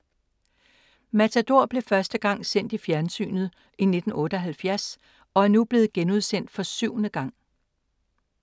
Matador blev første gang sendt i fjernsynet i 1978 og er nu blevet genudsendt for syvende gang.